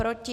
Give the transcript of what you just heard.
Proti?